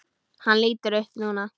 Hann lítur upp núna.